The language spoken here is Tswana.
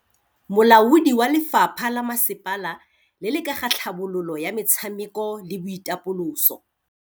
Molaodi wa lefapha la masepala le le ka ga tlhabololo ya metshameko le boitapoloso.